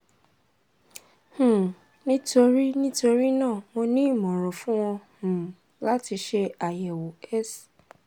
um nítorí nítorí náà mo ní ìmọ̀ran fún ọ um láti ṣe ayẹwo s